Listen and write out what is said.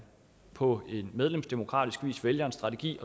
på medlemsdemokratisk vis vælger en strategi